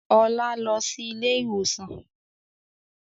Ọlá lọ síí ilé ìwòsàn